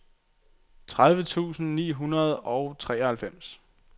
tredive tusind ni hundrede og treoghalvfems